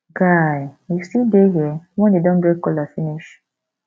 guy you still dey here wen dey don break kola finish